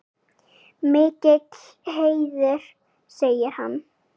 Mikill heiður segir hann.